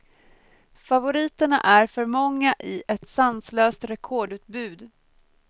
Favoriterna är för många i ett sanslöst rekordutbud.